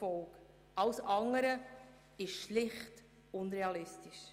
Alles andere ist schlicht unrealistisch.